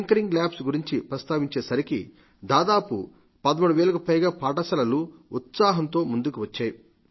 tinkering labs గురించి ప్రస్తావించే సరికి దాదాపు 13 వేలకు పైగా పాఠశాలలు ఉత్సాహంతో ముందుకు వచ్చాయి